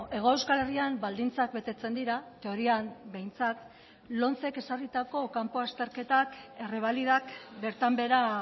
hego euskal herrian baldintzak betetzen dira teorian behintzat lomcek ezarritako kanpo azterketak errebalidak bertan behera